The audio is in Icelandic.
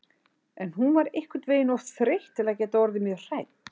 En hún var einhvern veginn of þreytt til að geta orðið mjög hrædd.